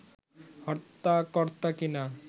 হর্তা-কর্তা কিনা